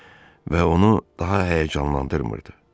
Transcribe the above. Və onu daha həyəcanlandırmırdı.